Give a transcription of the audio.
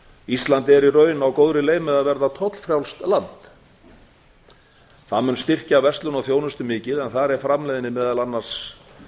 er í raun á góðri leið með að verða tollfrjálst land það mun styrkja verslun og þjónustu mikið en þar er framleiðni meðal annars